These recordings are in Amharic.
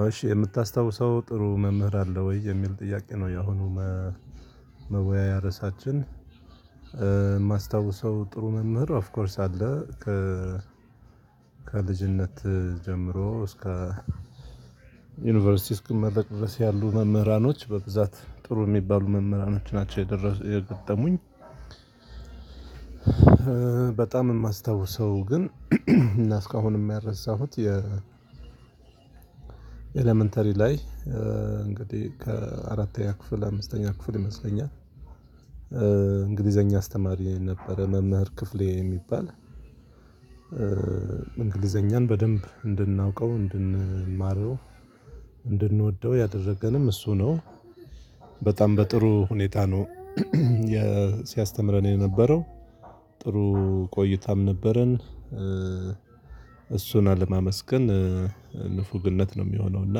አዎ እሺ የምታስታውሰው ጥሩ መምህር አለ ወይ የሚል ጥያቄ ነው? ያሁኑ መወያያሪያ ርዕሳችን የማስታውሰው ጥሩ መምህር ኦፍ ኮርስ አለ ከ ከልጅነት ጀምሮ እስከ ዩኒቨርሲቲ እስከመረቅ ያሉ መምህራኖች በብዛት ጥሩ የሚባሉ መምህራኖች ናቸው የገጠሙኝ። በጣም የማስታውሰው ግን እና እስካሁን የሚያረሳሁት የ ኢለመንተሪ ላይ እንግዲህ ከአራተኛ ክፍል አምስተኛ ክፍል ይመስለኛል እንግሊዘኛ አስተማሪ ነበረ። መምህር ክፍሌ የሚባል እንግሊዘኛን በደንብ እንድናውቀው እንድንማረው እንድንወደው ያደረገንም እሱ ነው። በጣም በጥሩ ሁኔታ ነው ሲያስተምረን የነበረው ጥሩ ቆይታም ነበረን። እሱን አለማመስገን ንፉግነት ነው የሚሆነው። እና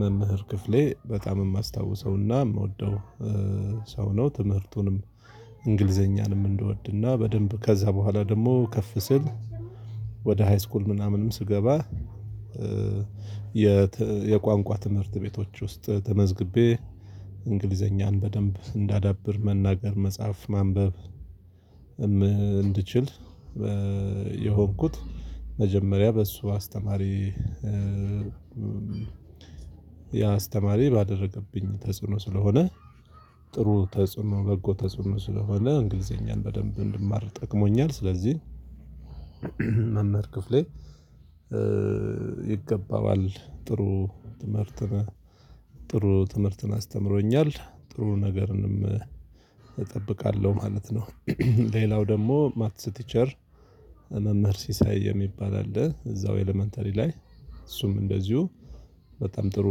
መምህር ክፍሌ በጣም የማስታውሰውና የምወደው ሰው ነው። ትምህርቱንም እንግሊዘኛንም እንደወድና በደንብ ከዛ በኋላ ደግሞ ከፍ ስል ወደ ሃይስኩል ምናምንም ስገባ። የቋንቋ ትምህርት ቤቶች ውስጥ ተመዝግቤ እንግሊዘኛን በደንብ እንዳዳብር መናገር መጻፍ ማንበብ እንድችል። የሆንኩት መጀመሪያ በሱ አስተማሪ። ያ አስተማሪ ባደረገብኝ ተጽዕኖ ስለሆነ ጥሩ ተጽዕኖ በጎ ተጽዕኖ ስለሆነ እንግሊዘኛን በደንብ እንድማር ጠቅሞኛል። ስለዚህ መምህር ክፍሌ ይገባዋል ጥሩ ትምህርት ጥሩ ትምህርትን አስተምሮኛል ጥሩ ነገርንም እጠብቃለሁ ማለት ነው። ሌላው ደግሞ ማትስ ቲቸር መምህር ሲሳይ የሚባል አለ እዛው ኢለመንተሪ ላይ እሱም እንደዚሁ በጣም ጥሩ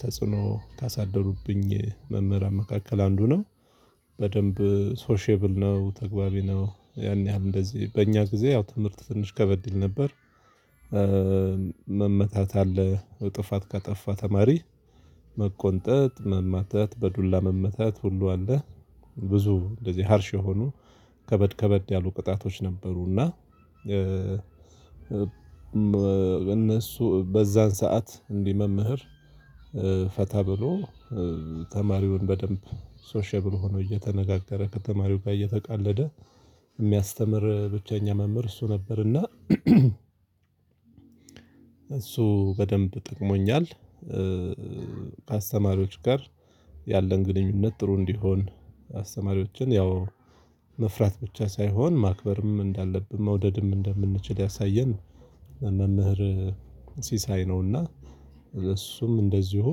ተጽዕኖ ካሳደሩብኝ መምህራን መካከል አንዱ ነው። በደንብ ሶሼብል ነው ተግባቢ ነው ያን ያህል እንደዚህ በእኛ ጊዜ ያው ትምህርት ትንሽ ከበድ ይል ነበር። መመታት አለ ጥፋት ካጠፋ ተማሪ መቆንጠጥ መመታት በዱላ መመታት ሁሉ አለ። ብዙ ግዜ ሀርሽ የሆኑ ከበድ ከበድ ያሉ ቅጣቶች ነበሩና። እነሱ በዛን ሰዓት እንዲህ መምህር ፈታ ብሎ ተማሪውን በደንብ ሶሻብል ሆኖ እየተነጋገረ ከተማሪው ጋር እየተቀለደ የሚያስተምር ብቸኛ መምህር እሱ ነበርና። እሱ በደንብ ጠቅሞኛል። አስተማሪዎች ጋር ያለን ግንኙነት ጥሩ እንዲሆን አስተማሪዎችን ያው መፍራት ብቻ ሳይሆን ማክበርም እንዳለብን መውደድም እንደምንችል ያሳየን መምህር ሲሳይ ነውና። እሱም እንደዚሁ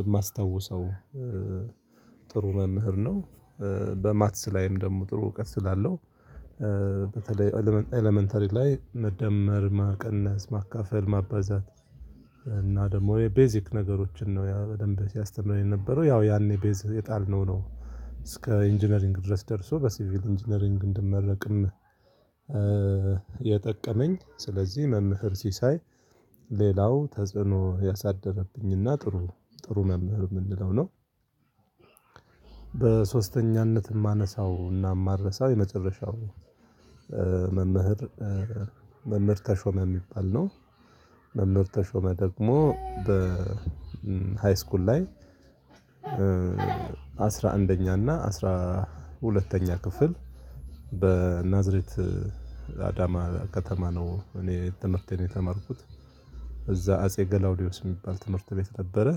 የማስታውሰው ጥሩ መምህር ነው። በማትስ ላይም ደግሞ ጥሩ እውቀት ስላለው በተለይ ኢለመንተሪ ላይ መደመር ማቀነስ ማካፈል ማበዛት እና ደግሞ የቤዚክ ነገሮችን ነው ያ በደንብ ሲያስተምረን የነበረው ያው ያኔ ቤዝ የጣልነው ነው እስከ ኢንጂነሪንግ ድረስ ደርሶ በሲቪል ኢንጂነሪንግ እንድመረቅም። የጠቀመኝ ስለዚህ መምህር ሲሳይ ሌላው ተጽዕኖ ያሳደረብኝና ጥሩ ጥሩ መምህር የምንለው ነው። በሶስተኛነት የማነሳውና የማረሳው የመጨረሻው መምህር ተሾመ የሚባል ነው። መምህርት ተሾመ ደግሞ በ ሃይስኩል ላይ አስራ አንደኛ እና አስራ ሁለተኛ ክፍል በናዝሬት አዳማ ከተማ ነው እኔ ትምህርቴን የተማርኩት እዛ አጼ ገላውዲዮስ የሚባል ትምህርት ቤት ነበረ።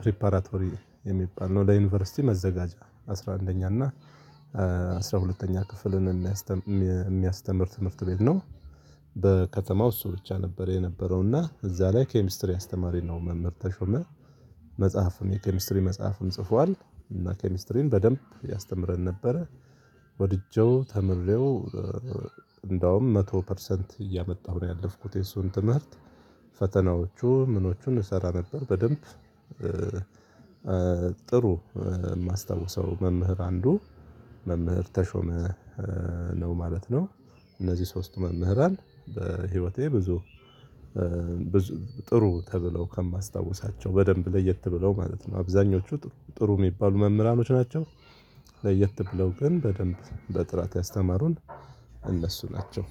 ፕሪፓራቶሪ የሚባል ነው ለዩኒቨርሲቲ መዘጋጃ አስራ አንደኛ እና አስራ ሁለተኛ ክፍልን የሚያስተምር ትምህርት ቤት ነው። በከተማው እሱ ብቻ ነበር የነበረው እና እዛ ላይ ኬሚስትሪ አስተማሪ ነው መምህር ተሾመ መጽሐፍም የኬሚስትሪ መጽሐፍም ጽፏል እና ኬሚስትሪን በደንብ ያስተምረን ነበረ። ወድጄው ተምሬው እንደውም መቶ ፐርሰንት እያመጣሁ ነው ያለፍኩት የሱን ትምህርት ፈተናዎቹ ምኖቹን እሰራ ነበር በደንብ። ጥሩ የማስታውሰው መምህር አንዱ መምህር ተሾመ ነው ማለት ነው። እነዚህ ሶስቱ መምህራን በህይወቴ ብዙ ጥሩ ተብለው ከማስታውሳቸው በደንብ ለየት ብለው ማለት ነው አብዛኞቹ ጥሩ ጥሩ የሚባሉ መምህራኖች ናቸው። ለየት ብለው ግን በደንብ በጥራት ያስተማሩን እነሱ ናቸው።